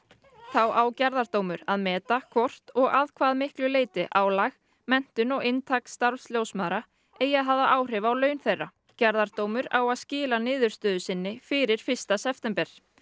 þá á gerðardómur að meta hvort og að hve miklu leyti álag menntun og inntak starfs ljósmæðra eigi að hafa áhrif á laun þeirra gerðardómur á að skila niðurstöðu sinni fyrir fyrsta september